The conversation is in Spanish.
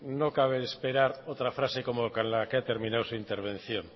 no cabe esperar otra frase como con la que ha terminado su intervención